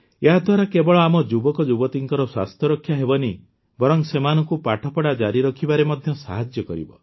ଏହାଦ୍ୱାରା କେବଳ ଆମ ଯୁବକଯୁବତୀଙ୍କର ସ୍ୱାସ୍ଥ୍ୟରକ୍ଷା ହେବନାହିଁ ବରଂ ସେମାନଙ୍କୁ ପାଠପଢ଼ା ଜାରି ରଖିବାରେ ମଧ୍ୟ ସାହାଯ୍ୟ କରିବ